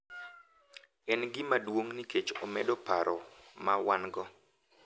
En gima duong’ nikech omedo paro ma wan-go .